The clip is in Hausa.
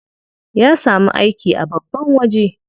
Ya samu aiki a babban waje.